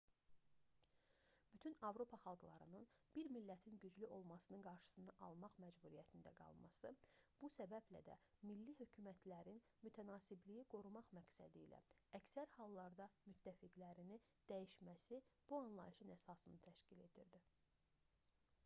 bütün avropa xalqlarının bir millətin güclü olmasının qarşısını almaq məcburiyyətində qalması bu səbəblə də milli hökumətlərin mütənasibliyi qorumaq məqsədilə əksər hallarda müttəfiqlərini dəyişməsi bu anlayışın əsasını təşkil edirdi